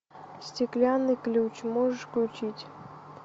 стеклянный ключ можешь включить